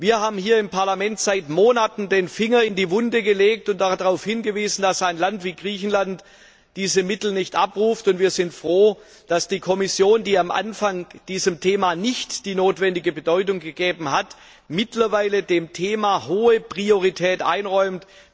Wir haben hier im Parlament seit Monaten den Finger in die Wunde gelegt und darauf hingewiesen, dass ein Land wie Griechenland diese Mittel nicht abruft, und wir sind froh, dass die Kommission, die am Anfang diesem Thema nicht die notwendige Bedeutung beigemessen hat, mittlerweile dem Thema hohe Priorität einräumt.